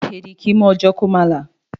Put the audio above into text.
Èẹ̀dì kì í mú ọ̣jọ́ kó má là.